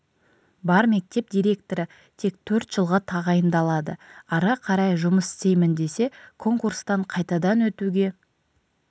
бар мектеп директоры тек төрт жылға тағайындалады ары қарай жұмыс істеймін десе конкурстан қайтадан өтуге